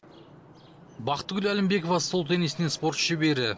бақтыгүл әлімбекова стол теннисінен спорт шебері